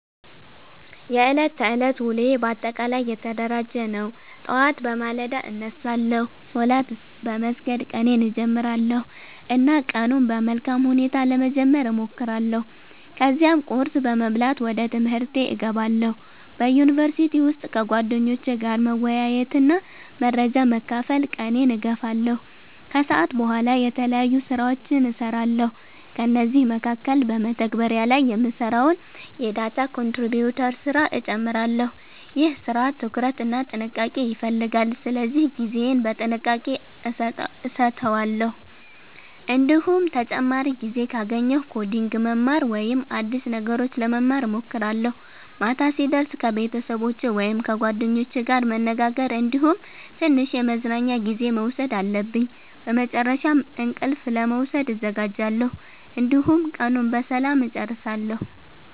የዕለት ተዕለት ውሎዬ በአጠቃላይ የተደራጀ ነው። ጠዋት በማለዳ እነሳለሁ፣ ሶላት በመስገድ ቀኔን እጀምራለሁ እና ቀኑን በመልካም ሁኔታ ለመጀመር እሞክራለሁ። ከዚያም ቁርስ በመብላት ወደ ትምህርቴ እገባለሁ። በዩኒቨርሲቲ ውስጥ ከጓደኞቼ ጋር መወያየትና መረጃ በመካፈል ቀኔን እገፋለሁ። ከሰዓት በኋላ የተለያዩ ስራዎችን እሰራለሁ፤ ከእነዚህ መካከል በመተግበሪያ ላይ የምሰራውን የdata contributor ስራ እጨምራለሁ። ይህ ስራ ትኩረት እና ጥንቃቄ ይፈልጋል ስለዚህ ጊዜዬን በጥንቃቄ አሰተዋለሁ። እንዲሁም ተጨማሪ ጊዜ ካገኘሁ ኮዲንግ ማማር ወይም አዲስ ነገሮች ለመማር እሞክራለሁ። ማታ ሲደርስ ከቤተሰቦቸ ወይም ከጓደኞቼ ጋር መነጋገር እንዲሁም ትንሽ የመዝናኛ ጊዜ መውሰድ አለብኝ። በመጨረሻም እንቅልፍ ለመውሰድ እዘጋጃለሁ፣ እንዲሁም ቀኑን በሰላም እጨርሳለሁ።